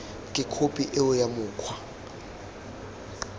ke khophi eo ya mokgwa